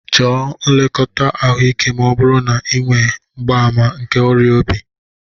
Chọọ nlekọta ahụike ma ọ bụrụ na ị nwe mgbaàmà nke ọrịa obi.